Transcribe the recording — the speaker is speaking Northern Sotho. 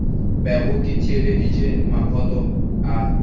bego ke theeleditše maphoto a